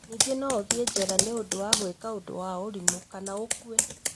Ningĩ no ũthĩĩ njera nĩ ũndũ wa gwĩka ũndũ wa ũrimũ, kana ũkue.